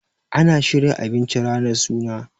ana shirya abinci ranar suna